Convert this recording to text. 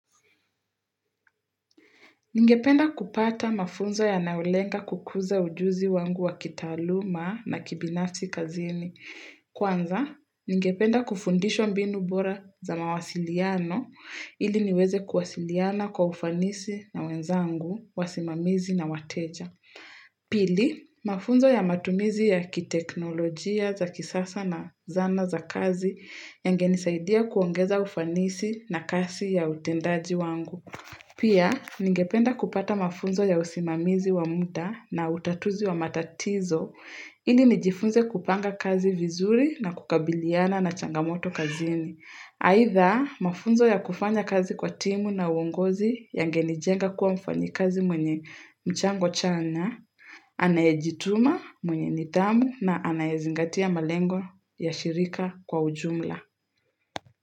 Ningependa kupata mafunzo yanayolenga kukuza ujuzi wangu wa kitaaluma na kibinafsi kazini. Kwanza, ningependa kufundishwa mbinu bora za mawasiliano ili niweze kuwasiliana kwa ufanisi na wenzangu, wasimamizi na wateja. Pili, mafunzo ya matumizi ya kiteknolojia za kisasa na zana za kazi yangenisaidia kuongeza ufanisi na kasi ya utendaji wangu. Pia, ningependa kupata mafunzo ya usimamizi wa muda na utatuzi wa matatizo, ili nijifunze kupanga kazi vizuri na kukabiliana na changamoto kazini. Aitha, mafunzo ya kufanya kazi kwa timu na uongozi yangenijenga kuwa mfanyikazi mwenye mchango chanya, anayejituma, mwenye nidhamu na anayezingatia malengo ya shirika kwa ujumla.